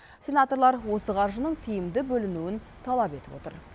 сенаторлар осы қаржының тиімді бөлінуін талап етіп отыр